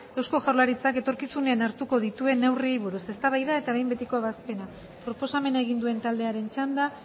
eusko jaurlaritzak etorkizunean hartuko dituen neurriei buruz eztabaida eta behin betiko ebazpena proposamena egin duen taldearen txanda